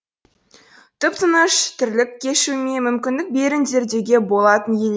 тып тыныш тірлік кешуіме мүмкіндік беріңдер деуге болатын ел